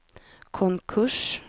konkurs